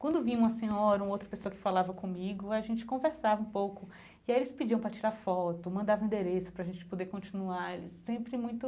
Quando vinha uma senhora, uma outra pessoa que falava comigo, a gente conversava um pouco e aí eles pediam para tirar foto, mandava endereço para a gente poder continuar sempre muito...